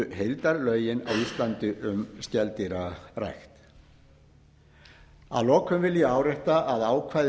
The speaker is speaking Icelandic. heildarlögin á íslandi um skeldýrarækt að lokum vil ég árétta að ákvæði